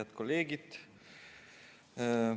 Head kolleegid!